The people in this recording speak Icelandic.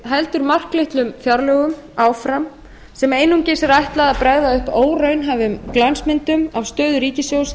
heldur marklitlum fjárlögum áfram sem einungis er ætlað að bregða upp óraunhæfum glansmyndum af stöðu ríkissjóðs